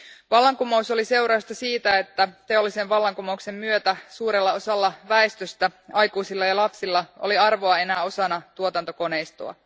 Vallankumous oli seurausta siitä, että teollisen vallankumouksen myötä suurella osalla väestöstä, aikuisilla ja lapsilla oli arvoa enää osana tuotantokoneistoa.